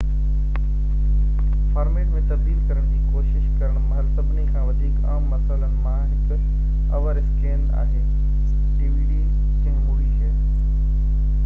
ڪنهن مووي کي dvd format ۾ تبديل ڪرڻ جي ڪوشش ڪرڻ مهل سڀني کان وڌيڪ عام مسئلن مان هڪ اوور اسڪين آهي